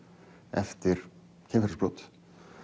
eftir kynferðisbrot